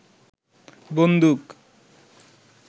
বন্দুক